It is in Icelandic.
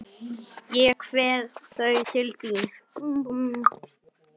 Ég kveð þau til þín.